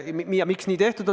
Miks nii tehtud on?